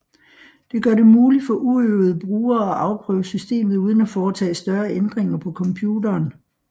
Det gør det muligt for uøvede brugere at afprøve systemet uden at foretage større ændringer på computeren